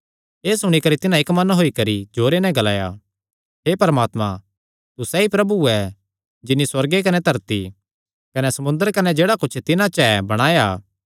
एह़ सुणी करी तिन्हां इक्क मन होई करी जोरे नैं ग्लाया हे परमात्मा तू सैई प्रभु ऐ जिन्नी सुअर्ग कने धरती कने समुंदर कने जेह्ड़ा कुच्छ तिन्हां च ऐ बणाया